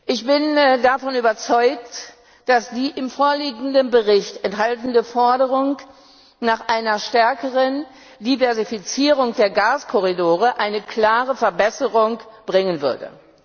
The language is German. Ich bin davon überzeugt, dass die im vorliegenden Bericht enthaltene Forderung nach einer stärkeren Diversifizierung der Gaskorridore eine klare Verbesserung bringen würde.